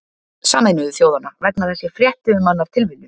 Sameinuðu þjóðanna, vegna þess að ég frétti um hann af tilviljun.